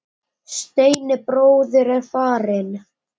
Steini bróðir er farinn.